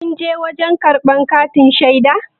kunje wajen karbar katin shaida?